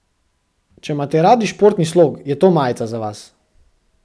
Če imate radi športni slog, je to majica za vas.